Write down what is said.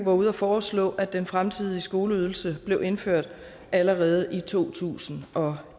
var ude at foreslå at den fremtidige skoleydelse blev indført allerede i to tusind og